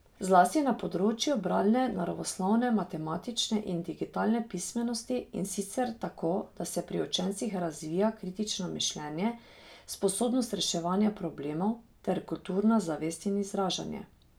Zlasti na področju bralne, naravoslovne, matematične in digitalne pismenosti, in sicer tako, da se pri učencih razvija kritično mišljenje, sposobnost reševanja problemov ter kulturna zavest in izražanje.